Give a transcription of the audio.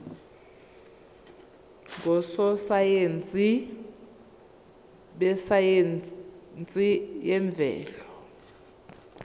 ngososayense besayense yemvelo